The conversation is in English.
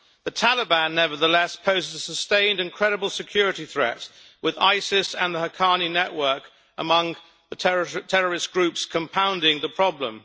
The Taliban, nevertheless, poses a sustained and credible security threat, with ISIS and the Haqqani network among the terrorist groups compounding the problem.